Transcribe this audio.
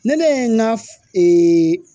Ne ne ye n ka